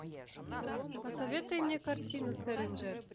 посоветуй мне картину сэлинджер